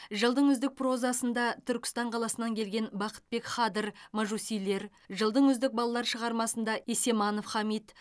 жылдың үздік прозасында түркістан қаласынан келген бақытбек хадыр мәжусилер жылдың үздік балалар шығармасында есеманов хамит